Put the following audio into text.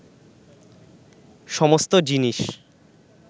সমস্ত জিনিস